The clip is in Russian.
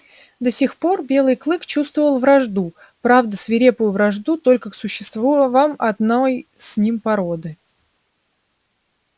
до сих пор белый клык чувствовал вражду правда свирепую вражду только к существам одной с ним породы